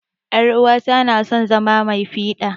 yar'uwata na son zama mai fida.